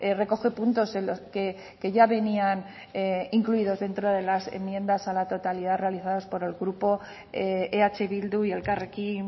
recoge puntos en los que ya venían incluidos dentro de las enmiendas a la totalidad realizadas por el grupo eh bildu y elkarrekin